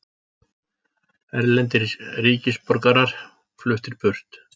Erlendir ríkisborgarar fluttir burt